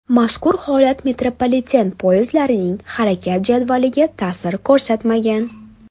Mazkur holat metropoliten poyezdlarining harakat jadvaliga tasir ko‘rsatmagan.